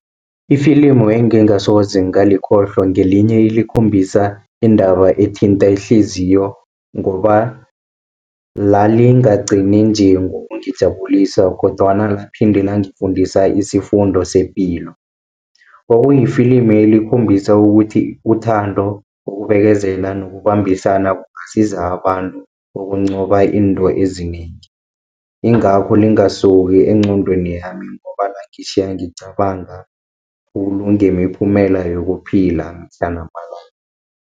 Ifilimu engengasoze ngalikhohlwa, ngelinye elikhombisa indaba ethinta ihliziyo, ngoba lalingagcini nje ngokungijabulisa kodwana la phinde langifundisa isifundo sepilo. Kwakuyifilimi elikhombisa ukuthi uthando, ukubekezela nokubambisana kungasiza abantu ukuncoba izinto ezinengi. Ingakho lingasuki engqondweni yami ngoba langitjhiya ngicabanga khulu ngemiphumela yokuphila mihla namalanga.